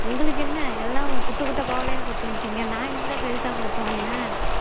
உங்களுக்கு என்ன எல்லாம் குட்ட குட்ட பாவாடையா போட்டுட்டு வந்துட்டீங்க நான் இல்ல பெருசா போட்டு வந்தேன்